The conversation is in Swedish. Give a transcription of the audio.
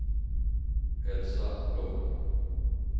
Elsa Blom